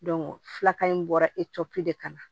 filakan in bɔra epp de kama